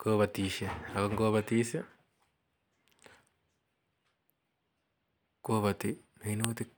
kopatishei ako ngopatis ko pati minutik.